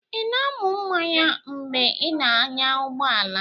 Ị na-aṅụ mmanya mgbe ị na-anya ụgbọ ala?